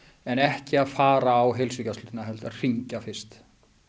en ekki að fara á heilsugæslurnar heldur að hringja fyrst